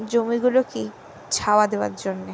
জমিগুলো কে ছাওয়া দেবার জন্য।